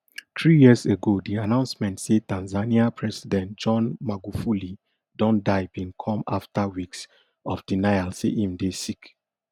three years ago di announcement say tanzania president john magufuli don die bin come afta weeks of denial say im dey sick